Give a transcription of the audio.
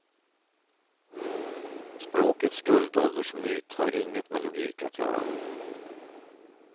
Språkets guldåldersmyt har inget med logik att göra.